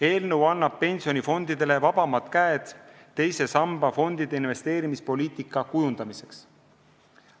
Eelnõu annab pensionifondidele vabamad käed teise samba fondide investeerimispoliitika kujundamiseks.